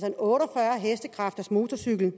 en otte og fyrre hestekræftersmotorcykel